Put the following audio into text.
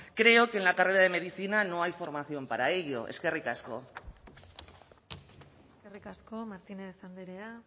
creo que en la carrera de medicina no hay formación para ello eskerrik asko eskerrik asko martínez andrea